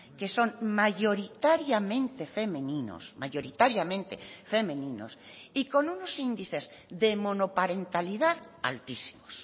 que son mayoritariamente femeninos mayoritariamente femeninos y con unos índices de monoparentalidad altísimos